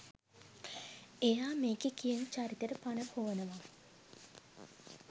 එයා මේකෙ කියන චරිතෙට පණ පොවනවා.